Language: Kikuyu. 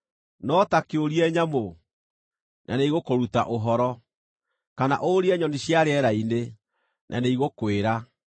“No ta kĩũrie nyamũ, na nĩigũkũruta ũhoro, kana ũrie nyoni cia rĩera-inĩ, na nĩigũkwĩra;